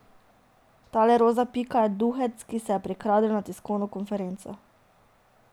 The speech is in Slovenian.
Tale roza pika je duhec, ki se je prikradel na tiskovno konferenco.